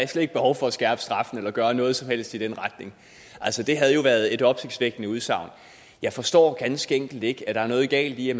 er slet ikke behov for at skærpe straffen eller gøre noget som helst i den retning det havde jo været et opsigtsvækkende udsagn jeg forstår ganske enkelt ikke at der er noget galt i at